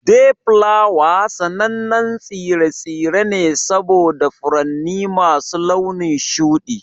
Dayflower sanannen tsire-tsire ne saboda furanni masu launin shuɗi.